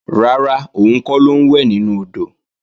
Rárá, òun kọ́ ló ń wẹ̀ nínú odò